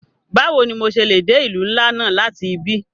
Bawo ni mo ṣe le de ilu nla náa lati ibi?